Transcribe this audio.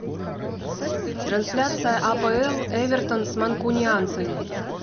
трансляция апл эвертон с манкунианцами